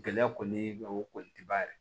Gɛlɛya kɔni ye o kɔni tɛ ban yɛrɛ